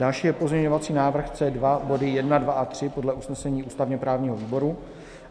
Další je pozměňovací návrh C2, body 1, 2 a 3 podle usnesení ústavně-právního výboru.